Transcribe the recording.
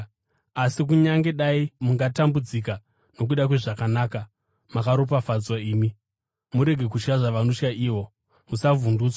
Asi kunyange dai mungatambudzika nokuda kwezvakanaka, makaropafadzwa imi. “Murege kutya zvavanotya ivo; musavhundutswa.”